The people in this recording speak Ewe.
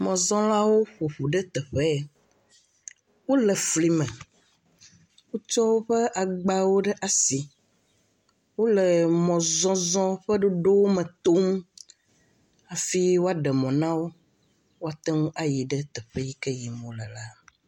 Mɔzɔ̃lawo ƒo ƒu ɖe teƒe ya. Wole fli me, wotsɔ woƒe agbawo ɖe asi, wole mɔzɔzɔ ƒe ɖoɖo me tom afi woaɖe mɔ na wo woate ŋu ayi ɖe teƒe yi ke yim wole la.